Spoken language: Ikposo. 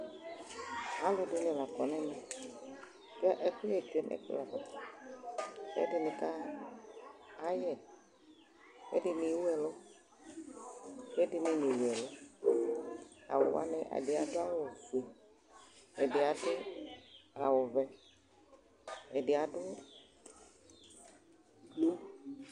aloɛdini la kɔ n'ɛmɛ ko ɛkoyɛ tsue no ɛkplɔ ava ko ɛdini kayɛ ko ɛdini ewu ɛlu ko ɛdini newu ɛlu awu wani ɛdi ado awu ofue ɛdi ado awu vɛ ɛdi ado blu